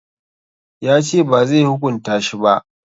Ya ce bazai hukunta shi ba